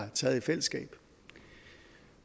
har taget i fællesskab